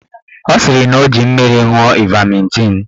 Ọ sịrị na ọ ji mmiri ṅụọ ivametịn.